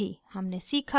हमने सीखा